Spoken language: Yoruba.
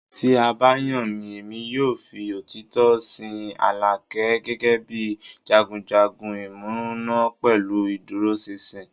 Ti a ba yan mi, Emi yoo fi otitọ sin Alake gẹgẹbi jagunjagun imuna pẹlu iduroṣinṣin